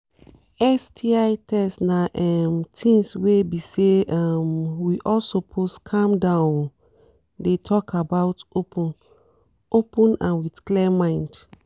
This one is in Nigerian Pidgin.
sti test na um things were be say um we all suppose calm down um dey talk about open-open and with clear mind